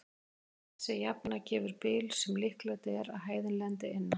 Þessi jafna gefur bil sem líklegt er að hæðin lendi innan.